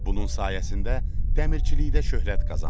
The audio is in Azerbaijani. Bunun sayəsində dəmirçilikdə şöhrət qazandım.